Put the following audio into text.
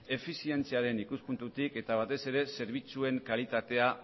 efizientziaren ikuspuntutik eta batez ere zerbitzuen kalitatea